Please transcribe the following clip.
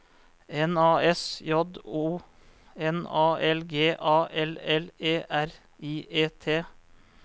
N A S J O N A L G A L L E R I E T